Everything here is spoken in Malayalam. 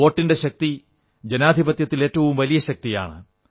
വോട്ടിന്റെ ശക്തി ജനാധിപത്യത്തിൽ ഏറ്റവും വലിയ ശക്തിയാണ്